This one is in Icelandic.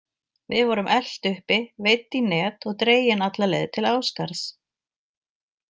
Við vorum elt uppi, veidd í net og dregin alla leið til Ásgarðs.